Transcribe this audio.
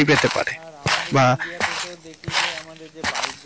আর আমাদের ইন্ডিয়া তে তো দেখি যে আমাদের যে বাইকগুলো আছে